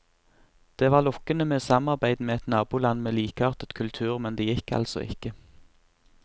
Det var lokkende med samarbeid med et naboland med likeartet kultur, men det gikk altså ikke.